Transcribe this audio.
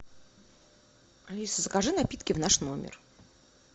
алиса закажи напитки в наш номер